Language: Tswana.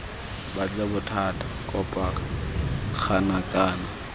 batle bothata kopa ngaka kana